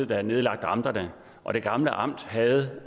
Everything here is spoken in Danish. der nedlagde amterne og det gamle amt havde